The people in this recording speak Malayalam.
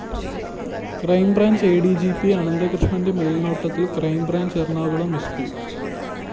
crime branch A D G P അനന്തകൃഷ്ണന്റെ മേല്‍നോട്ടത്തില്‍ crime branch Ernakulam S P P